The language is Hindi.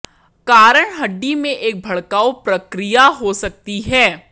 कारण हड्डी में एक भड़काऊ प्रक्रिया हो सकती है